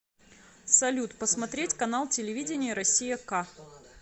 салют посмотреть канал телевидения россия к